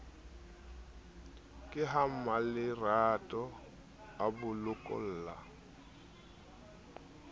ke ha mmalerato abokolla ha